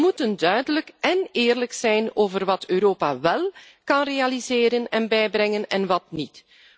We moeten duidelijk en eerlijk zijn over wat Europa wel kan realiseren en bijbrengen en wat niet.